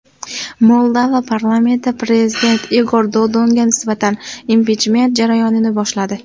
Moldova parlamenti prezident Igor Dodonga nisbatan impichment jarayonini boshladi.